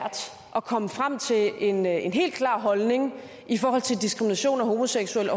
at komme frem til en en helt klar holdning i forhold til diskrimination af homoseksuelle